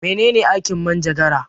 Mene ne aikin manjagara?